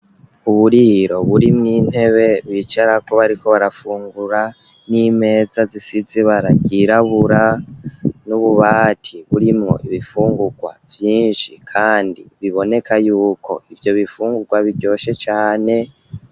uburiro buri mw'ntebe bicarako bariko barafungura n'imeza zisize ibara ryirabura n'ububati burimwo ibifungurwa vyinshi kandi biboneka yuko ivyo bifungurwa biryoshe cane.